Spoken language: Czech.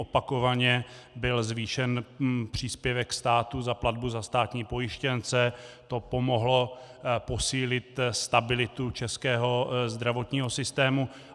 Opakovaně byl zvýšen příspěvek státu za platbu za státní pojištěnce, to pomohlo posílit stabilitu českého zdravotního systému.